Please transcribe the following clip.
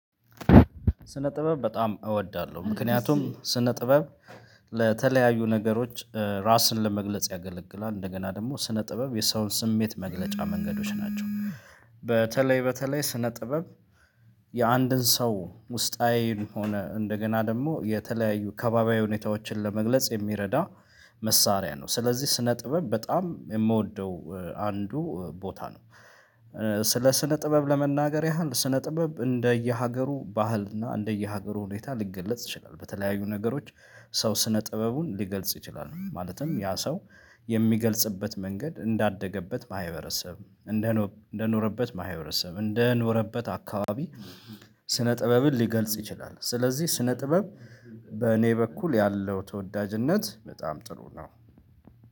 ስነ ጥበብ በጣም እወዳለሁ ምክንያቱም ስነ ጥበብ ለተለያዩ ነገሮች ራስን ለመግለጽ ያገለግላል እንደገና ደግሞ ስነ ጥበብ የሰውን ስሜት መግለጫ መንገዶች ናቸው። በተለይ በተለይ ስነ ጥበብ የአንድን ሰው ውስጣዊ ሆኖ እንደገና ደግሞ የተለያዩ ከባቢያዊ ሁኔታዎችን ለመግለጽ የሚረዳ መሳሪያ ነው። ስለዚህ ስነ ጥበብ በጣም የምወደው አንዱ ቦታ ነው። ስለ ስነ ጥበብ ለመናገር ያህል ስነ ጥበብ እንደየሀገሩ ባህልና እንደየሀገሩ ሁኔታ ሊገለጽ ይችላል። በተለያዩ ነገሮች ሰው ስነ ጥበቡን ሊገልጽ ይችላል። ማለትም ያ ሰው የሚገልጽበት መንገድ እንዳደገበት ማህበረሰብ እንደ እንደኖረበት ማህበረሰብ እንደኖረበት አካባቢ። ስነ ጥበብን ሊገልጽ ይችላል። ስለዚህ ስነ ጥበብ በእኔ በኩል ያለው ተወዳጅነት በጣም ጥሩ ነው።